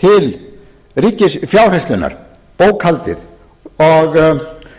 til ríkisfjárhirslunnar bókhaldið